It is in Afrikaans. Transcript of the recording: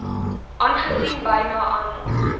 aangesien byna almal